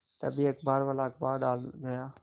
तभी अखबारवाला अखबार डाल गया